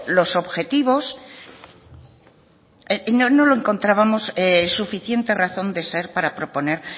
los objetivos no lo encontrábamos suficiente razón de ser para proponer